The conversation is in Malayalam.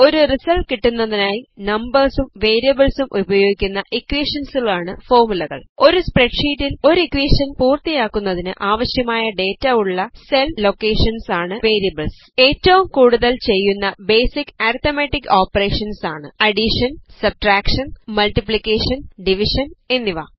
ഒരു റിസൾട്ട് കിട്ടുന്നതിനായി നംപേർസും വേരിയബിൾസും ഉപയോഗിക്കുന്ന ഇക്വേഷനുകളാണ് ഫോർമുലകൾ ഒരു സ്പ്രെഡ് ഷീറ്റിൽ ഒരു ഇക്വേഷൻ പൂർത്തിയാക്കുന്നതിന് ആവശ്യമായ ഡേറ്റ ഉള്ള സെൽ ലോക്കേഷൻസ് ആണ് വേരിയബിൾ ഏറ്റവും കൂടുതൽ ചെയ്യുന്ന ബേസിക് അരിത്തമെറ്റിക് ഓപ്പറേഷൻസ് ആണ് അഡീഷൻ സബ്സ്ട്രാക്ഷൻ മൾട്ടിപ്ലിക്കേഷൻ ഡിവിഷൻ എന്നിവ